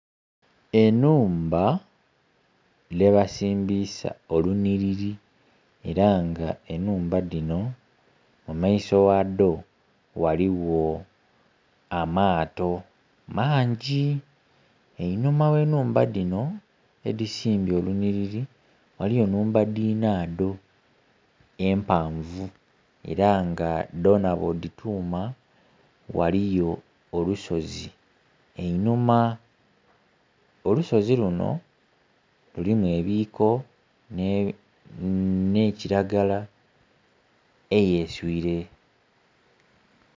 Enhumba dhe basiimbisa olunhiri era nga enhumba dhino mu maiso ghadho ghaligho amato maangi. Einhuma ghe nhumba dhino edisimbye olu nhiriri ghaliyo nhumba dinado empavu era nga dona bwo dituma ghaliyo olusozi einhuma. Olusozi luno lulimu ebiko ni kilagala eyeswire.